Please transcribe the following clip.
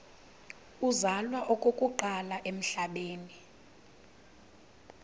uzalwa okokuqala emhlabeni